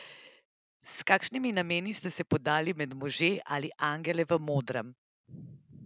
S kakšnimi nameni ste se podali med može ali angele v modrem?